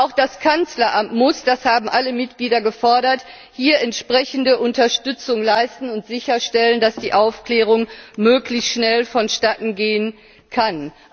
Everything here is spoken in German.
Auch das Kanzleramt muss das haben alle Mitglieder gefordert hier entsprechende Unterstützung leisten und sicherstellen, dass die Aufklärung möglichst schnell vonstattengehen kann.